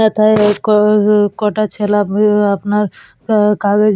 যেথায় ওই কককক কোটা ছেলা বহু আপনার কাগজ ।